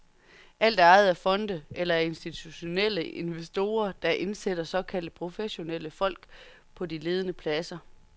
Alt er ejet af fonde eller af institutionelle investorer, der indsætter såkaldte professionelle folk på de ledende pladser.